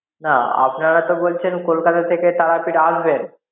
না আপনারা তো বলছেন কলকাতা থেকে তারাপীঠ আসবেন